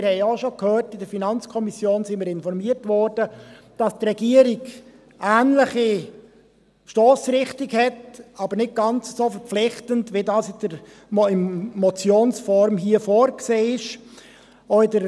Wir haben ja auch schon gehört – in der FiKo wurden wir informiert –, dass die Regierung eine ähnliche Stossrichtung hat, aber nicht ganz so verpflichtend, wie es hier in Motionsform vorgesehen ist.